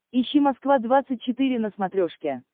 ищи москва двадцать четыре на смотрешке